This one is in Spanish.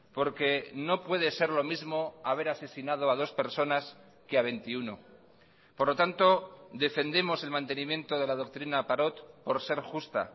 porque no puede ser lo mismo haber asesinado a dos personas que a veintiuno por lo tanto defendemos el mantenimiento de la doctrina parot por ser justa